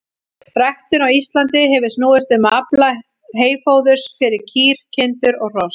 Ræktun á Íslandi hefur snúist um að afla heyfóðurs fyrir kýr, kindur og hross.